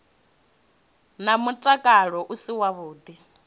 wa mutakalo u si wavhuḓi